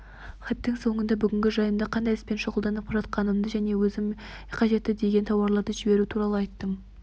хаттың соңында бүгінгі жайымды қандай іспен шұғылданып жатқанымды және өзіме қажетті деген тауарларды жіберу туралы айттым